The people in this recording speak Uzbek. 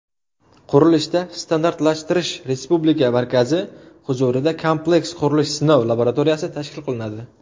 Qurilishda standartlashtirish respublika markazi huzurida Kompleks qurilish sinov laboratoriyasi tashkil qilinadi.